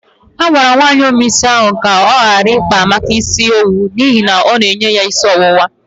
A gwara nwaanyi ome isi ahu ka ọ gara ikpa Amaka isi owu n'ihi ọ na-enye ya isi ọwụwa.